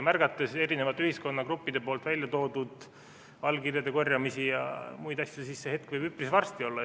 Vaadates eri ühiskonnagruppide algatatud allkirjade korjamisi ja muid asju, siis see hetk võib üpris varsti olla.